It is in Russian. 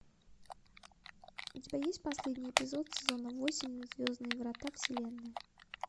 у тебя есть последний эпизод сезона восемь звездные врата вселенная